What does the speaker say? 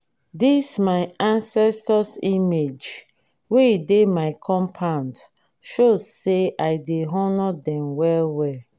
this my ancestors image wey dey my compound show say i dey honour dem well well.